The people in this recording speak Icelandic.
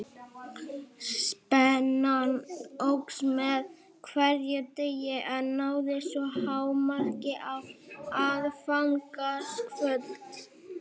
Spennan óx með hverjum deginum en náði svo hámarki á aðfangadagskvöld.